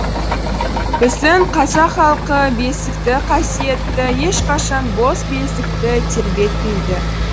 біздің қазақ халқы бесікті қасиетті ешқашан бос бесікті тербетпейді